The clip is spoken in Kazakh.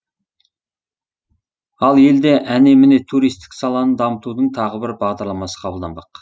ал елде әне міне туристік саланы дамытудың тағы бір бағдарламасы қабылданбақ